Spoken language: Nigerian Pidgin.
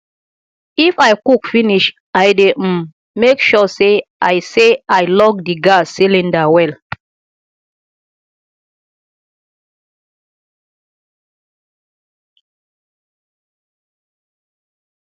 if i cook finish i dey um mek sure say i say i lock di gas cylinder well